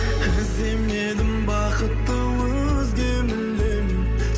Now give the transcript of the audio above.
іздемедім бақытты өзге мүлдем